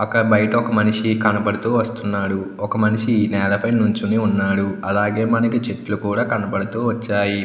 అక్కడ ఒక బయట మనిషి కనబడుతూ వస్తునాడు. ఒక మనిషి నేలపై నిలుచొని ఉన్నాడు. అలాగే కొన్ని చెట్లు కూడా కనబడుతూ వచ్చాయి.